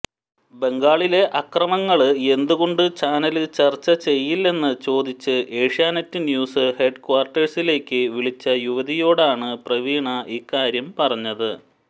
ബംഗാളിലെ അക്രമങ്ങള് എന്തുകൊണ്ട് ചാനല് ചര്ച്ച ചെയ്യില്ലെന്ന് ചോദിച്ച് ഏഷ്യാനെറ്റ് ന്യൂസ് ഹെഡ്ക്വാര്ട്ടേഴ്സിലേക്ക് വിളിച്ച യുവതിയോടാണ് പ്രവീണ ഇക്കാര്യം പറഞ്ഞത്